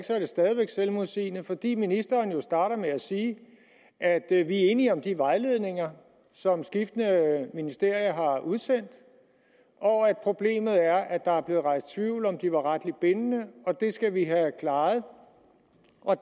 så er det stadig væk selvmodsigende fordi ministeren jo starter med at sige at vi er enige om de vejledninger som skiftende ministerier har udsendt og at problemet er at der er blevet rejst tvivl om hvorvidt de er retligt bindende og at det skal vi have klaret